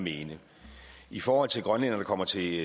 mene i forhold til grønlændere der kommer til